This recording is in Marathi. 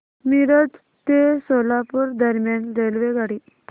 मिरज ते सोलापूर दरम्यान रेल्वेगाडी